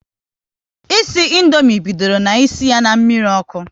Isi Indomie bidoro na isi ya na mmiri ọkụ